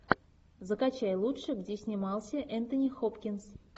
закачай лучшее где снимался энтони хопкинс